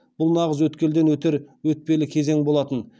бұл нағыз өткелден өтер өтпелі кезең болатын